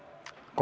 Kohtumiseni!